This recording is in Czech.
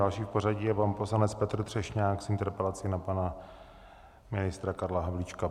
Další v pořadí je pan poslanec Petr Třešňák s interpelací na pana ministra Karla Havlíčka.